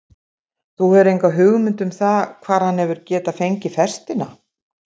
Þú hefur enga hugmynd um það hvar hann hefur getað fengið festina?